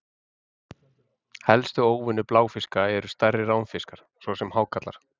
Helstu óvinir bláfiska eru stærri ránfiskar, svo sem hákarlar.